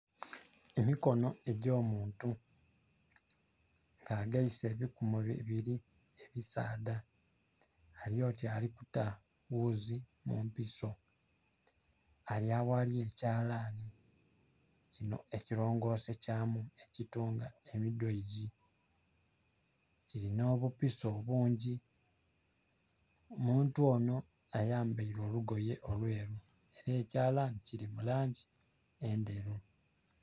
Emikonho egyo muntu kageise ebikumu bibiri abisadha ali oti ali kuta ghuzi mu mpiso ali aghali ekyalanhi kinho ekilongose kyamu ekitunga emidhoozi, kilinha obupiso obungi. Omuntu onho ayambeire olugoye olweru nhe ekyalanhi kili mu langi endheru.